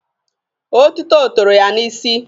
Otito toro ya n'isi.